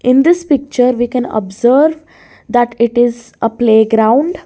in this picture we can observe that it is a playground.